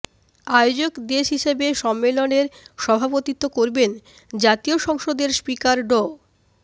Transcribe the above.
আয়োজক দেশ হিসেবে সম্মেলনের সভাপতিত্ব করবেন জাতীয় সংসদের স্পিকার ড